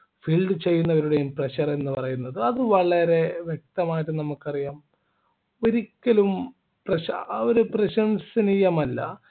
field ചെയ്യുന്നവരുടെയും pressure എന്ന് പറയുന്നത് അത് വളരെ വ്യക്തമായിട്ട് നമുക്കറിയാം ഒരിക്കലും പ്രശ ആ ഒരു പ്രശംസനീയമല്ല